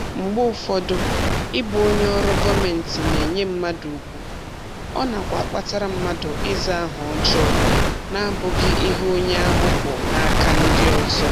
Mgbe ụfọdụ, ịbụ onye ọrụ gọmentị na-enye mmadụ ugwu, ọ nakwa akpatara mmadụ ịza aha ọjọọ n'abụghị ihe onye ahụ bụ n'aka ndị ọzọ